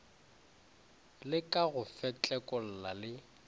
le ka go fetlekolla le